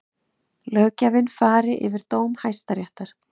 Löggjafinn fari yfir dóm Hæstaréttar